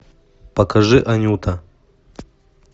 покажи анюта